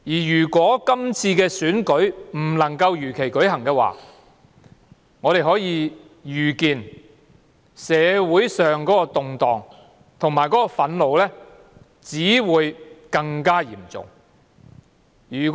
如果今次的選舉不能夠如期舉行，我們可以預見社會上的動盪及憤怒只會更嚴重。